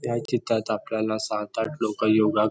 या चित्रात आपल्याला सात-आठ लोक योगा क--